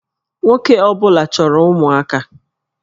Nwoke ọ bụla chọrọ ụmụaka